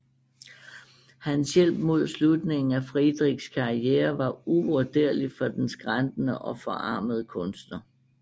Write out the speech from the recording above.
Hans hjælp mod slutningen af Friedrichs karriere var uvurderlig for den skrantende og forarmede kunstner